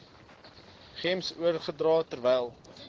gems oorgedra terwyl